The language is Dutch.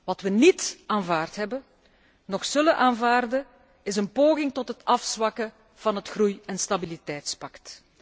Wat we niet aanvaard hebben noch zullen aanvaarden, is een poging tot het afzwakken van het Groei en stabiliteitspact.